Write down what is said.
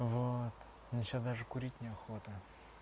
вот мне сейчас даже курить не охота